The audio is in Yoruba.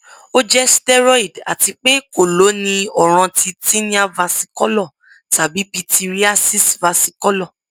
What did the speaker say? o jẹ steroid ati pe ko lo ni ọran ti tinea versicolor tabi pityriasis versicolor